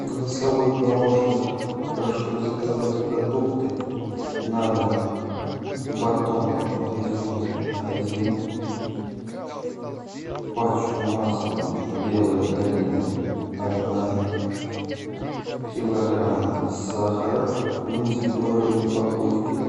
голосовой помощник прошу заказать продукты на дом батон нарезной один пачку масла белая долина одна килограмм сахара в индивидуальной упаковке